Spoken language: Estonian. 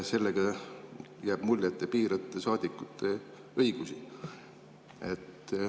Sellega jääb mulje, et te piirate saadikute õigusi.